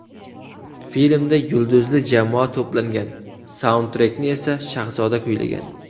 Filmda yulduzli jamoa to‘plangan, saundtrekni esa Shahzoda kuylagan.